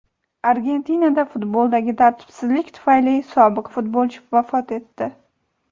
Argentinada futboldagi tartibsizlik tufayli sobiq futbolchi vafot etdi.